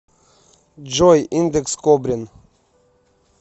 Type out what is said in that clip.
джой индекс кобрин